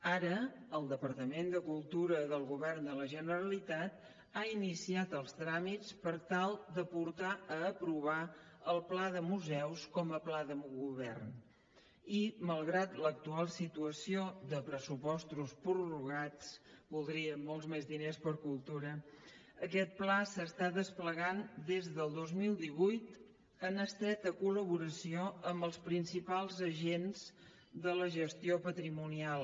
ara el departament de cultura del govern de la generalitat ha iniciat els tràmits per tal de portar a aprovar el pla de museus com a pla de govern i malgrat l’actual situació de pressupostos prorrogats voldríem molts més diners per a cultura aquest pla s’està desplegant des del dos mil divuit en estreta col·laboració amb els principals agents de la gestió patrimonial